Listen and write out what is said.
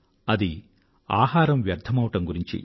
అది ఆహారం వ్యర్థమవడం గురించి